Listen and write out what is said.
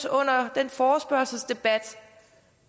under den forespørgselsdebat